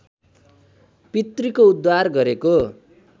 पितृको उद्धार गरेको